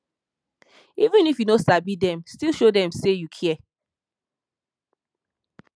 even if you no sabi dem still show dem sey you care